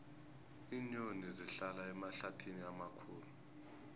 iinyoni zihlala emahlathini amakhulu